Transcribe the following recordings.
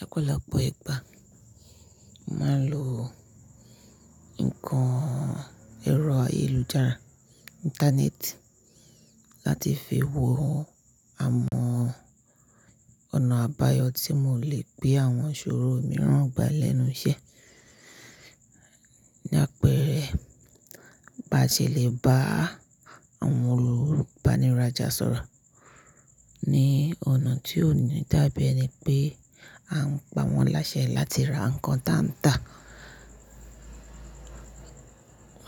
Lọ̀pọ̀lọpọ̀ ìgbà, màá lo nǹkan ẹ̀rọ ayélujára, Íńtánẹ́ẹ̀tì, láti fi wo àwọn ọ̀nà àbáyọ̀ tí mo lè gbé àwọn ìṣòro mìíràn gbà lẹ́nu iṣẹ́. Ní àpẹẹrẹ, bá ṣe lè bá àwọn olùbanirájà sọ̀rọ̀ ní ọ̀nà tí ó níì dá biẹni pé a ń pa wọ́n láṣẹ láti ra nǹkan táǹtà,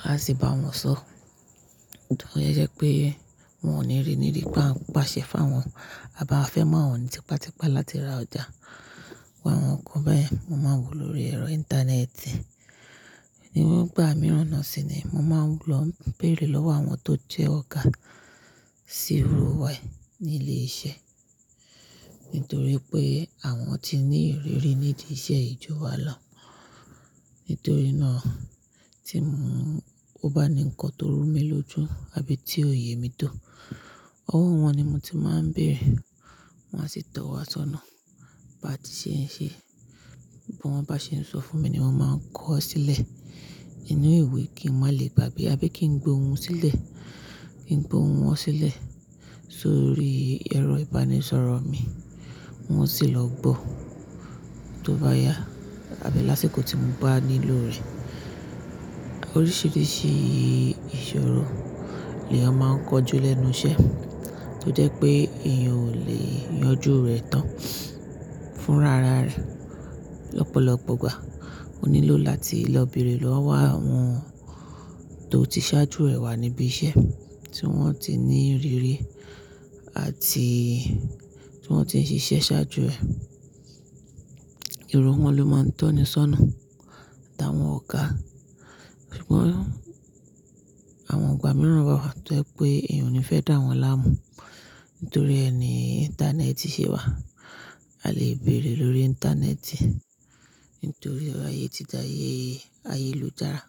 a sì bá wọn sọ. Nítorí o jẹ́ pé wọn ò ní rí níbí pé à ń pàṣẹ fún wọn, à bá fẹ́ má wọ̀n ní pàtìpà láti ra ọjà irú àwọn nǹkan bẹ́yẹ̀n, mo máa wò lóri ẹ̀rọ Íńtánẹ́ẹ̀tì. Ní gbà mìíràn náà sì ni mo máa ń lọ bèrè lọ́wọ́ àwọn tó jẹ́ ọ̀gá sí irú wàyí ní ilé iṣẹ́. Nítorí pé àwọn ti ní ìrírí nídi iṣẹ́ ì jùwá lọ. Nítorí náà tí mo bá ní ǹkan tó rú mi lójú àbí tí òye mi tó, ọwọ́ wọn ni mo ti máa ń bèrè, wọn a sì tọ̀ wá sọ́nà. Bá ti ṣe ń ṣe, bí wọ́n bá ṣe ń sọ fún mi ni mo máa ń kọ ọ́ sílẹ̀ inú ìwé kí n má lè gbà bí abẹ́ kí n gbé ohun sílẹ̀, kí n gbé ohun wọ́n sílẹ̀ sórí ẹ̀rọ ìbánisọ̀rọ̀ mi, un o sì lọ gbọ́. Tí ó bá yá, àbí lásìkò tí mo bá nílò rẹ̀. Oríṣìíríṣìí ìṣòro ni a máa ń kọjú lẹ́nu iṣẹ́ tó jẹ́ pé èèyàn ò lè yanjú rẹ̀ tán fún rara rẹ̀ lọ́pọ̀lọpọ̀ gbà. Ó nílò láti lọ bèrè lọ́wọ́ àwọn tó ti ṣáájú rẹ̀ wà níbí iṣẹ́ tí wọ́n ti ní ìrírí àti tí wọ́n ti ṣiṣẹ́ ṣáájú rẹ̀. Irú wọ́n ló máa ń tọ́ni sọ́nà, tàwọn ọ̀gá. Ṣùgbọ́n àwọn igbà mìíràn wà wà tó jẹ́ pé èèyàn ò ní fẹ́ dà wọ́n láàmú. Nítorí ẹ ni Íńtánẹ́ẹ̀tì ṣe wà, a lè bèrè lórí Íńtánẹ́ẹ̀tì. Nítorí ayé ti dà ayélujára.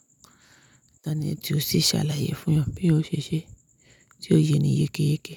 Íńtánẹ́ẹ̀tì ò sì ṣàlàyé fún ẹ bi o ṣe ṣé tí ó ye ni yékéyéke.